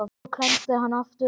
En svo klemmdi hann aftur augun.